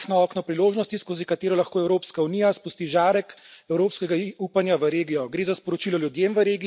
Severna Makedonija je majhno okno priložnosti, skozi katero lahko Evropska unija spusti žarek evropskega upanja v regijo.